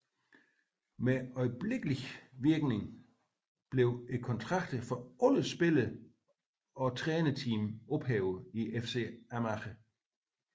Med øjeblikkelig virkning blev kontrakterne for alle spillere og trænerteamet ophævet i FC Amager